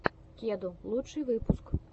кеду лучший выпуск